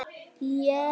Íslandsmeistari í póker